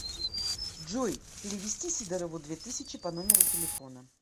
джой перевести сидорову две тысячи по номеру телефона